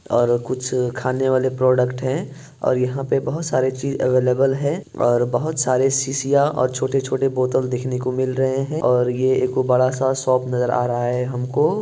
कुछ खाने वाले प्रोडक्ट है| यहाँ पे बहुत सारे चीज अवेलेबल है| बहुत सारे सीसिया और छोटे - छोटे बोतल देखने को मिल रहे हैं और ये एगो बड़ा-सा सोप नजर आ रहा है हमको |